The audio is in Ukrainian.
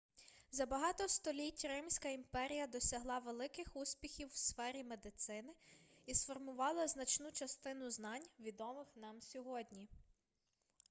за багато століть римська імперія досягла великих успіхів в сфері медицини і сформувала значну частину знань відомих нам сьогодні